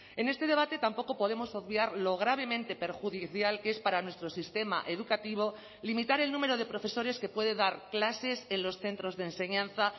en este debate tampoco podemos obviar lo gravemente perjudicial que es para nuestro sistema educativo limitar el número de profesores que puede dar clases en los centros de enseñanza